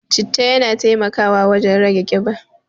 Citta yana taimakawa wurin rage ƙiba.